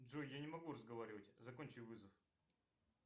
джой я не могу разговаривать закончи вызов